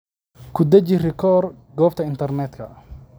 Ku dhaji rikoor goobta internetka.